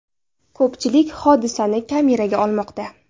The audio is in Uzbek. Ko‘pchilik hodisani kameraga olmoqda.